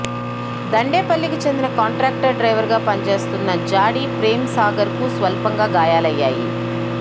దండేపల్లికి చెందిన కాంట్రాక్ట్ డ్రైవర్గా పని చేస్తున్న జాడి ప్రేమ్సాగర్కు స్వల్పంగా గాయాలయ్యాయి